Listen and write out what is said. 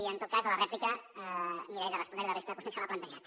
i en tot cas a la rèplica miraré de respondre li la resta de qüestions que m’ha plantejat